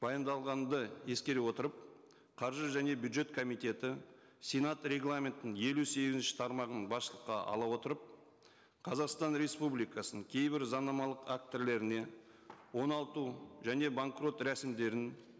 баяндалғанды ескере отырып қаржы және бюджет комитеті сенат регламентінің елу сегізінші тармағын басшылыққа ала отырып қазақстан республикасының кейбір заңнамалық актілеріне оңалту және банкрот рәсімдерін